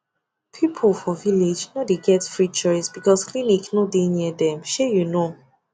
people for village no dey get free choice because clinic no dey near dem shey you know